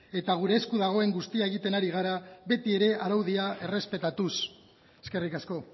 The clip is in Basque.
eta gure esku dagoen guztia egiten ari gara betiere araudia errespetatuz eskerrik asko